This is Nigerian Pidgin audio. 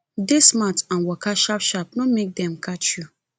dey smart and waka sharp sharp no make dem catch you